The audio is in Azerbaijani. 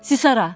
Siz hara?